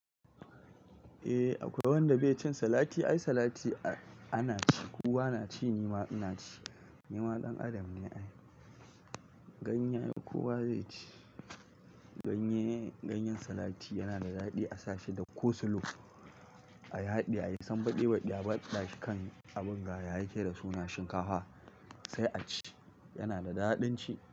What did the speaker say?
Eh akwai wanda bai cin salati, ai salati ana ci, kowa na ci nima ina ci. Ni ma dan adam ne ai. Ganye ai kowa zai ci. Ganye, ganyen salati yana da daɗi a sashi da coslow. A yaɗe ayi san baɗebaɗi a baɗa shi kan abin gaya yake da suna shinkafa sai a ci. Yana da daɗin ci.